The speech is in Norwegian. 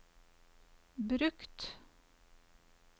brukt